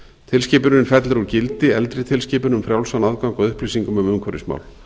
tilskipunin fellir úr gildi eldri tilskipun um frjálsan aðgang að upplýsingum um umhverfismál